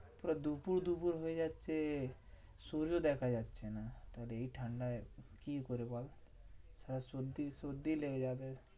পুরো দুপুর দুপর হয়ে যাচ্ছে, সূর্য দেখা যাচ্ছে না। তোর এই ঠান্ডায় কি করি বল? সালা সর্দি সর্দি লেগে যাবে।